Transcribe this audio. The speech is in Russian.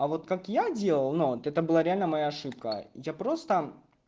а вот как я делал но это было реально моя ошибка я просто